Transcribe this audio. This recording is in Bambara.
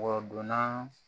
Wɔdon na